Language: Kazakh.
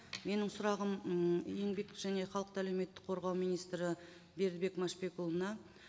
менің сұрағым м еңбек және халықты әлеуметтік қорғау министрі бердібек мәшбекұлына